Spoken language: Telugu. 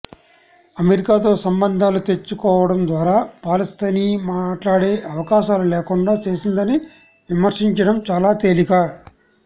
అమెరికాతో సంబంధాలు తెంచేసుకోవడం ద్వారా పాలస్తీనా మాట్లాడే అవకాశాలు లేకుండా చేసిందని విమర్శించడం చాలా తేలిక